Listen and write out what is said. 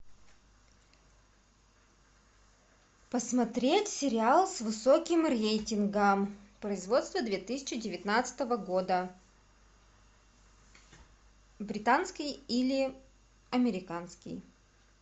посмотреть сериал с высоким рейтингом производства две тысячи девятнадцатого года британский или американский